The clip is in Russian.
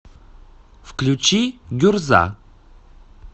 включи гюрза